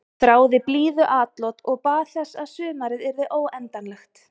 Þráði blíðuatlot og bað þess að sumarið yrði óendanlegt.